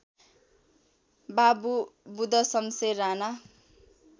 Babu Budhshamsher Rana